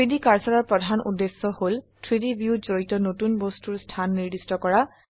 3ডি কাৰ্সাৰৰ প্ৰধান উদ্দেশ্য হল 3ডি ভিউত জড়িত নতুন বস্তুৰ স্থান নিৰ্দিষ্ট কৰা